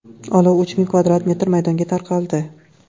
Olov uch ming kvadrat metr maydonga tarqaldi.